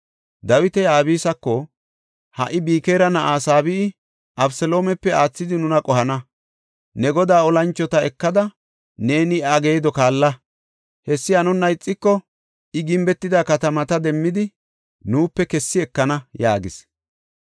Dawiti Abisako, “Ha77i Bikira na7aa Saabe7i Abeseloomepe aathidi nuna qohana. Ne godaa olanchota ekada neeni iya geedo kaalla. Hessi hanonna ixiko I gimbetida katamata demmidi nuupe kessi ekana” yaagis.